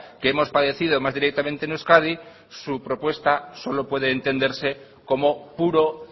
que hemos padecido más directamente en euskadi su propuesta solo puede entenderse como puro